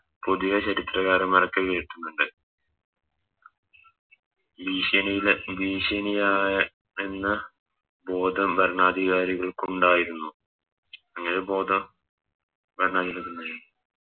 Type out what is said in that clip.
പുതിയ ചരിത്രകാരൻമ്മാരോക്കെ കേക്കുന്നുണ്ട് ഈഷണിലെ ഭീഷണി ആ യെന്ന ബോധം ഭരണാധികാരികൾക്കുണ്ടായിരുന്നു അങ്ങനെ ബോധം ഭരണാധികാരികൾക്കുണ്ടായിന്നു